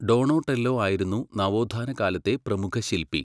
Donatello ആയിരുന്നു നവോത്ഥാനകാലത്തെ പ്രമുഖശില്പി.